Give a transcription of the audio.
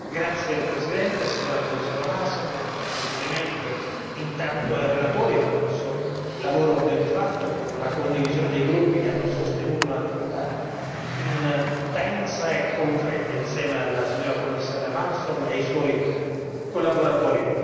Signor Presidente, onorevoli colleghi, signora Commissario Malmström, un complimento intanto ai relatori per questo lavoro ben fatto, con la condivisione dei gruppi che hanno sostenuto un'attività intensa e concreta insieme alla signora Commissario Malmström e ai suoi collaboratori.